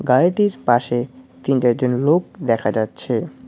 গাড়িটির পাশে তিন চারজন লোক দেখা যাচ্ছে।